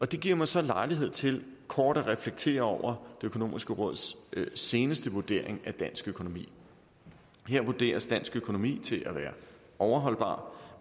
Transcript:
det giver mig så lejlighed til kort at reflektere over det økonomiske råds seneste vurdering af dansk økonomi her vurderes dansk økonomi til at være overholdbar